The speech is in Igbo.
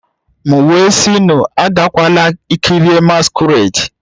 M wee sị unu agakwala kirie masquerade